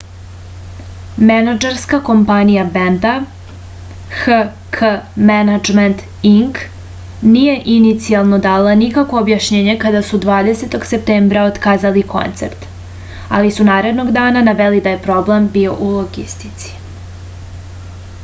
менаџерска компанија бенда hk management inc није иницијално дала никакво објашњење када су 20.септембра отказали концерт али су наредног дана навели да је проблем био у логистици